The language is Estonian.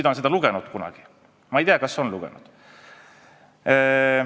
Ma ei tea, kas ta on seda kunagi lugenud.